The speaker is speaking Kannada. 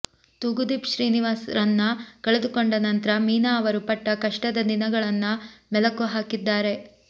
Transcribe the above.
ತೂಗುದೀಪ್ ಶ್ರೀನಿವಾಸ್ ರನ್ನ ಕಳೆದುಕೊಂಡ ನಂತ್ರ ಮೀನಾ ಅವರು ಪಟ್ಟ ಕಷ್ಟದ ದಿನಗಳನ್ನ ಮೆಲಕು ಹಾಕಿದ್ದಾರೆ